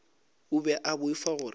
o be a boifa gore